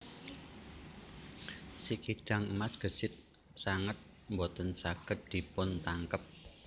Si kidang emas gesit sanget boten saged dipuntangkep